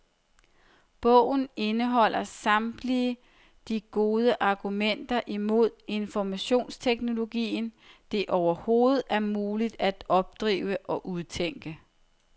Bogen indeholder samtlige de gode argumenter imod informationsteknologien, det overhovedet er muligt at opdrive og udtænke.